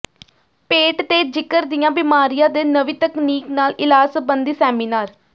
ਪੇਟ ਤੇ ਜਿਗਰ ਦੀਆਂ ਬਿਮਾਰੀਆਂ ਦੇ ਨਵੀਂ ਤਕਨੀਕ ਨਾਲ ਇਲਾਜ ਸਬੰਧੀ ਸੈਮੀਨਾਰ